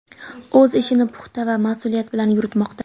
O‘z ishini puxta va mas’uliyat bilan yuritmoqda.